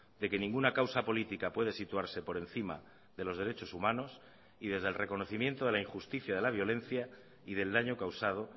de que ninguna causa política puede situarse por encima de los derechos humanos y desde el reconocimiento de la injusticia de la violencia y del daño causado